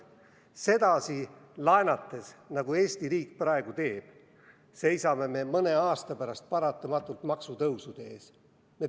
Sedasi laenates, nagu Eesti riik praegu teeb, seisame me mõne aasta pärast paratamatult maksutõusude ees.